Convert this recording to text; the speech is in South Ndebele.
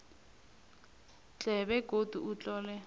tle begodu utlole